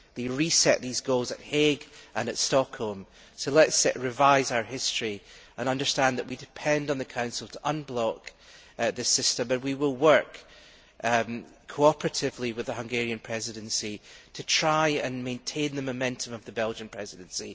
they reset these goals at The Hague and at Stockholm, so let us revise our history and understand that we depend on the Council to unblock the system and we will work cooperatively with the Hungarian Presidency to try and maintain the momentum of the Belgian Presidency.